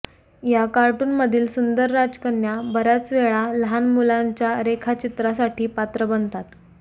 या कार्टूनमधील सुंदर राजकन्या बर्याच वेळा लहान मुलांच्या रेखाचित्रासाठी पात्र बनतात